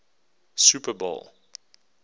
super bowl